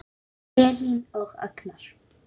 Elín og Agnar.